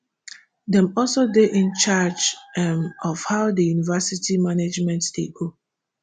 dem also dey incharge um of how di university management dey go